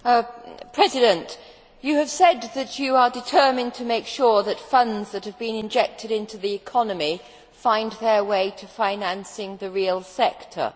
Madam President, you have said that you are determined to make sure that funds that have been injected into the economy find their way to financing the real sector.